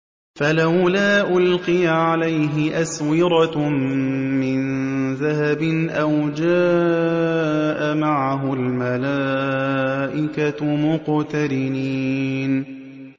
فَلَوْلَا أُلْقِيَ عَلَيْهِ أَسْوِرَةٌ مِّن ذَهَبٍ أَوْ جَاءَ مَعَهُ الْمَلَائِكَةُ مُقْتَرِنِينَ